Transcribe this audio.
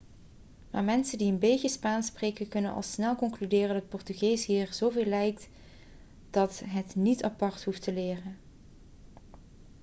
maar mensen die een beetje spaans spreken kunnen al snel concluderen dat portugees hier zoveel op lijkt dat je het niet apart hoeft te leren